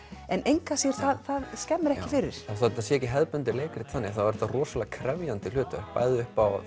en það skemmir ekki fyrir þó þetta sé ekki hefðbundið leikrit þannig þá er þetta rosalega krefjandi hlutverk bæði upp á